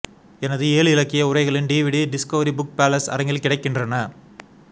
எனது ஏழு இலக்கிய உரைகளின் டிவிடி டிஸ்கவரி புக் பேலஸ் அரங்கில் கிடைக்கின்றன